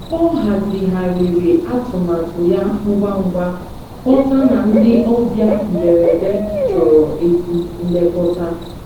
Ọ hazigharịrị atụmatụ ya ngwa ngwa, ghọta na ndị ọbịa mberede chọrọ ezi nlekọta.